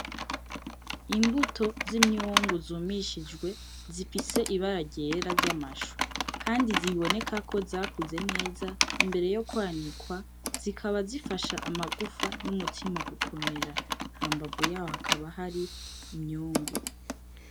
imbuto z'imyungu zumishijwe zifise ibara ryera ry'amashu kandi ziboneka ko zakuze neza imbere yo kwanikwa, Zikaba zifasha amagufa n'umutima gukomera hambavu yaho hakaba hari imyungu.